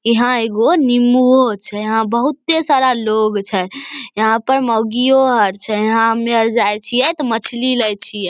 यहां एगो नींबूओ छै यहां बहुते सारा लोग छै यहां पर मोगियों आर छै यहां हमें आर जाय छिये ते मछली ले छिये।